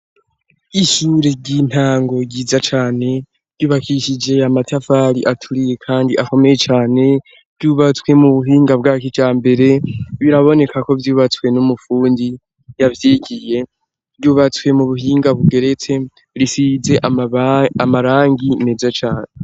Ishure ry'intango ryiza cane ryubakishije ya matafari aturiye, kandi akomeye cane, vyubatswe mu buhinga bwa kijambere ,biraboneka ko vyubatswe n'umufundi yavyigiye ,ryubatswe mu buhinga bugeretse risize amarangi meza cane.